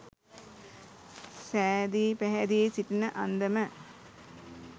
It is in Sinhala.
සැදී පැහැදී සිටින අන්දම